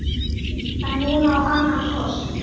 Sníkill getur átt við